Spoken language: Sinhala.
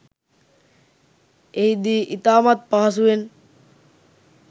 එහිදී ඉතාමත් පහසුවෙන්